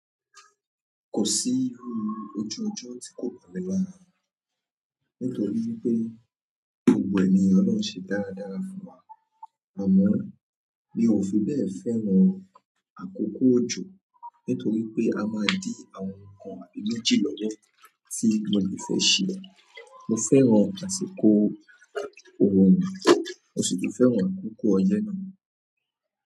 Kò sí iru ojú ọjọ́ tí kò bá ní lára, nítorí wípé gbogbo ènìyàn lọlọhun ń ṣe dáradára fún wa. Àmọ́ mi ò fi bẹ́ẹ̀ fẹ́ran àkókò òjò, nítorí pé a máa ń di àwọn nǹkan àbí méjì lọ́wọ́ tí mo le fẹ́ ṣe. Mo fẹ́ran àsìkò òrun, mo sì tun fẹ́ran àkókò ọyẹ náà.